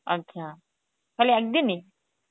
আচ্ছা তাহলে একদি ই?